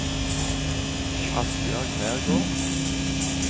Asbjørg Nergård